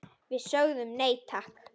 Við sögðum nei, takk!